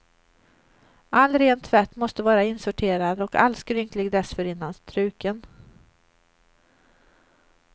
All ren tvätt måste vara insorterad och all skrynklig dessförinnan struken.